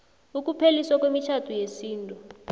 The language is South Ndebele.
ukupheliswa kwemitjhado yesintu